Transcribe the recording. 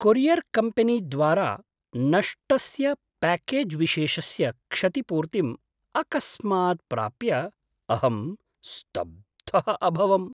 कोरियर्कम्पेनीद्वारा नष्टस्य प्याकेज्विशेषस्य क्षतिपूर्तिम् अकस्मात् प्राप्य अहं स्तब्धः अभवम्।